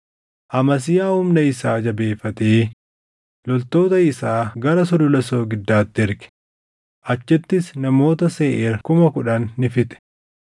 Amasiyaa humna isaa jabeeffatee loltoota isaa gara Sulula Soogiddaatti erge; achittis namoota Seeʼiir kuma kudhan ni fixe.